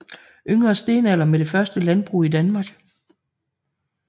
Yngre stenalder med det første landbrug i Danmark